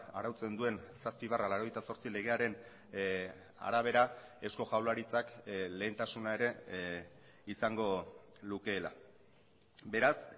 arautzen duen zazpi barra laurogeita zortzi legearen arabera eusko jaurlaritzak lehentasuna ere izango lukeela beraz